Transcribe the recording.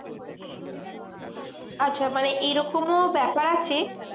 আচ্ছা মানে এরকমও ব্যাপার আছে,